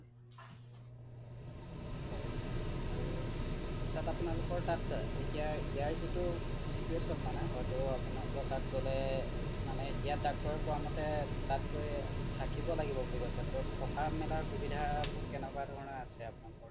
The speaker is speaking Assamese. আৰু তাত আপোনালোকৰ তাত ইয়াৰ যিটো situation মানে হয়টো আপোনালোক তাত গলে মানে ইয়াৰ ডক্তৰ ৰে কোৱা মতে তাত গৈ থাকিব লাগিব বুলি কৈছে টো থকা মেলা সুবিধা বোৰ কেনেকুৱা আছে আপোনালোকৰ